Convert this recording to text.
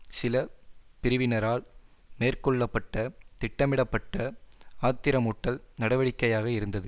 சில பிரிவினரால் மேற்கொள்ள பட்ட திட்டமிடப்பட்ட ஆத்திரமூட்டல் நடவடிக்கையாக இருந்தது